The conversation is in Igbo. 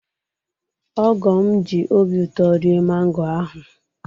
Ogo'm ji obi ụtọ rie mango ahụ